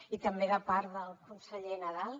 i també de part del conseller nadal